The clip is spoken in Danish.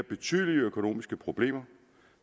betydelige økonomiske problemer